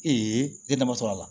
ne ye dama sɔrɔ a la